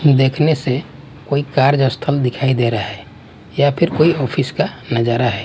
देखने से कोई कार्यस्थल दिखाई दे रहा है या फिर कोई ऑफिस का नजारा है।